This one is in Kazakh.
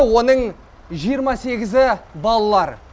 оның жиырма сегізі балалар